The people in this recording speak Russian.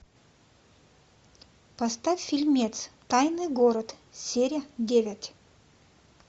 поставь фильмец тайный город серия девять